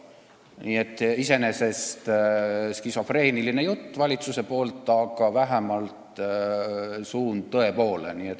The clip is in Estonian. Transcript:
Nii et iseenesest on see valitsusel skisofreeniline jutt, aga vähemalt on suund tõe poole.